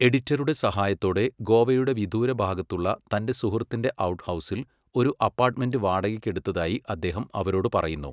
എഡിറ്ററുടെ സഹായത്തോടെ ഗോവയുടെ വിദൂരഭാഗത്തുള്ള തന്റെ സുഹൃത്തിന്റെ ഔട്ട്ഹൗസിൽ ഒരു അപ്പാർട്ട്മെൻ്റ് വാടകയ്ക്ക് എടുത്തതായി അദ്ദേഹം അവരോട് പറയുന്നു.